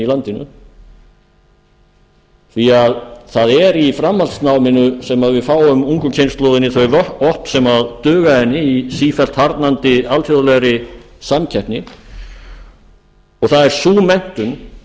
landinu því það er í framhaldsnáminu sem við fáum ungu kynslóðinni þau vopn sem duga henni í sífellt harðnandi alþjóðlegri samkeppni og það er sú menntun